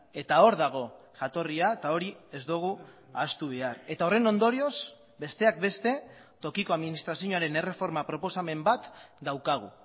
eta hor dago jatorria eta hori ez dugu ahaztu behar eta horren ondorioz besteak beste tokiko administrazioaren erreforma proposamen bat daukagu